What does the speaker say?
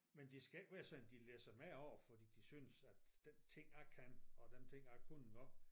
Men det skal ikke være sådan de læsser dem af over fordi de synes den ting jeg kan og den ting jeg kunne engang